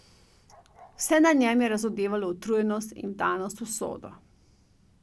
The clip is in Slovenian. Vse na njem je razodevalo utrujenost in vdanost v usodo.